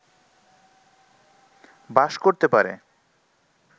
বাস করতে পারে